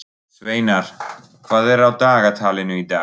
Sveinar, hvað er á dagatalinu í dag?